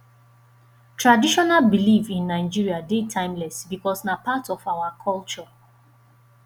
traditional belief in nigeria de timeless because na part our culture